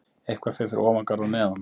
Eitthvað fer fyrir ofan garð og neðan